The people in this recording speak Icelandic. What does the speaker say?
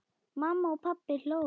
Mamma og pabbi hlógu.